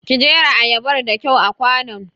Ki jera ayabar da kyau a kwanon!